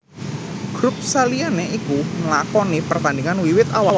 Grup saliyane iku nlakoni pertandingan wiwit awal